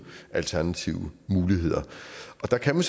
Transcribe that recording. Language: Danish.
alternative muligheder og der kan man